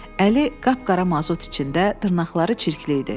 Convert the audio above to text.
Əli qapqara mazut içində, dırnaqları çirkli idi.